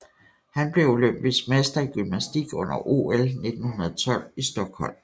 Han blev olympisk mester i gymnastik under OL 1912 i Stockholm